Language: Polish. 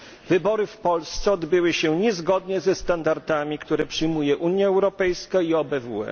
Wybory w Polsce odbyły się niezgodnie ze standardami, które przyjmuje Unia Europejska i OBWE.